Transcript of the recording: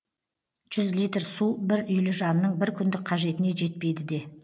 жүз литр су бір үйлі жанның бір күндік қажетіне жетпейді де